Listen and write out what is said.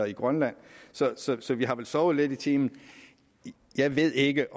i grønland så så vi har vel sovet lidt i timen jeg ved ikke